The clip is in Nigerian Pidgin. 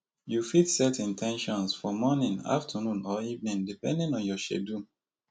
you fit set in ten tions for morning afternoon or evening depending on your schedule